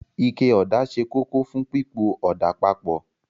Ike ọ̀dà ṣe kókó fún pípo ọ̀dà papọ̀